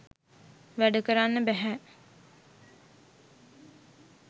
වැඩ කරන්න බැහැ